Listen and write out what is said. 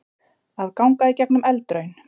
Að ganga í gegnum eldraun